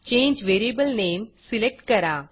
change variable name select करा